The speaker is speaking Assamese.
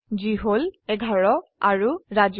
যি হল 11 আৰু ৰাজু